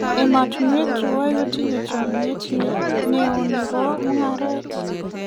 emeatunwek tuwai ko tinye chamiet neo nebo mungaret